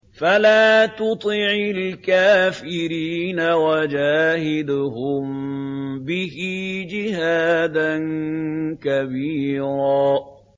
فَلَا تُطِعِ الْكَافِرِينَ وَجَاهِدْهُم بِهِ جِهَادًا كَبِيرًا